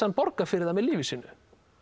hann borga fyrir hann með lífi sínu